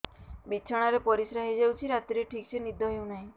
ବିଛଣା ରେ ପରିଶ୍ରା ହେଇ ଯାଉଛି ରାତିରେ ଠିକ ସେ ନିଦ ହେଉନାହିଁ